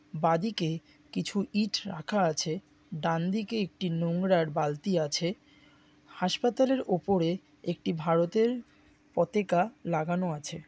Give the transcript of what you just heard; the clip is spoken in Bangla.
বাঁদিকে কিছু ইট রাখা আছে ডানদিকে একটি নোংরার বালতি আছে হাসপাতালের ওপরে একটি ভারতের পতেকা লাগানো আছে ।